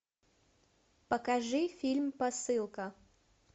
покажи фильм посылка